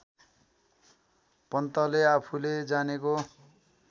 पन्तले आफूले जानेको